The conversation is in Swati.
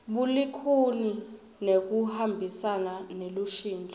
bulikhuni nekuhambisana nelushintso